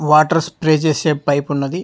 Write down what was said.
Water spray చేసే pipe ఉన్నది.